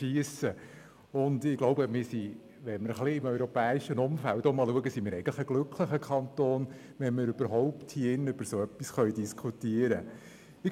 Ich denke, wenn wir uns im europäischen Umfeld umschauen, sind wir eigentlich ein glücklicher Kanton, weil wir hier in diesem Saal überhaupt über so etwas diskutieren können.